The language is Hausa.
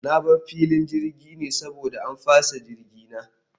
Na bar filin jirgin ne saboda an fasa jirgi na